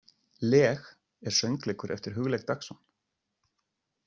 Leg er söngleikur eftir Hugleik Dagsson.